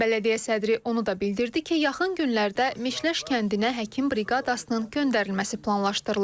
Bələdiyyə sədri onu da bildirdi ki, yaxın günlərdə Meşleş kəndinə həkim briqadasının göndərilməsi planlaşdırılır.